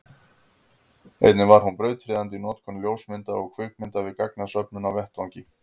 einnig var hún brautryðjandi í notkun ljósmynda og kvikmynda við gagnasöfnun á vettvangi